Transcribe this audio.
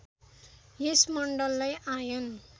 यस मण्डललाई आयन